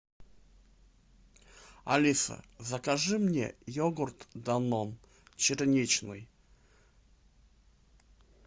алиса закажи мне йогурт данон черничный